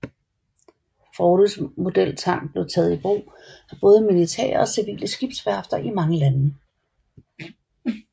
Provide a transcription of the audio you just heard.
Froudes modeltank blev taget i brug af både militære og civile skibsværfter i mange lande